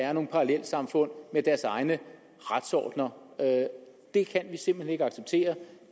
er nogle parallelsamfund har deres egne retsordener det kan vi simpelt hen ikke acceptere og